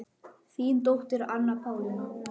Þín dóttir Anna Pálína.